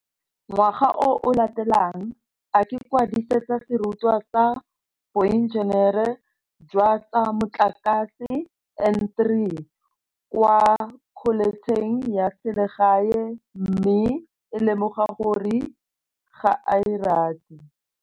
Ngwaga o o latelang, a ikwadisetsa serutwa sa Boenjenere jwa tsa Motlakase N3 kwa kholetšheng ya selegae mme a lemoga gore ga a e rate.